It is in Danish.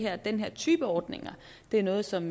at den her type ordning er noget som